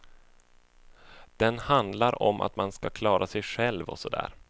Den handlar om att man ska klara sig själv och så där.